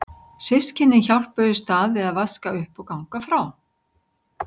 Systkynin hjálpuðust að við að vaska upp og ganga frá.